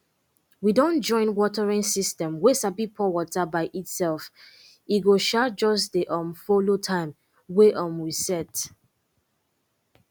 we don join watering system way sabi pour water by itself e go um just dey um follow time wey um we set